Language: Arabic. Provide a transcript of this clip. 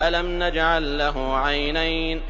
أَلَمْ نَجْعَل لَّهُ عَيْنَيْنِ